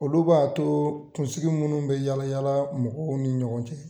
Olu b'a to kunsigi munnu be yala yala mɔgɔw ni ɲɔgɔn cɛ